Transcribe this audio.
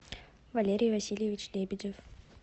валерий васильевич лебедев